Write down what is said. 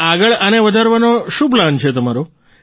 અને આગળ આને વધારવાનો શું પ્લાન છે તમારો